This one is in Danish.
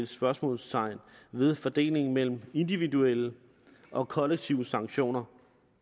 spørgsmålstegn ved fordelingen mellem individuelle og kollektive sanktioner